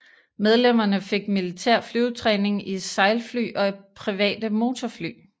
Medlemmerne fik militær flyvetræning i sejlfly og private motorfly